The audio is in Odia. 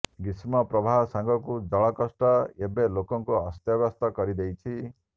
ଗ୍ରୀଷ୍ମ ପ୍ରବାହ ସାଙ୍ଗକୁ ଜଳକଷ୍ଟ ଏବେ ଲୋକଙ୍କୁ ଅସ୍ତବ୍ୟସ୍ତ କରିଦେଇଛି